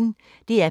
DR P1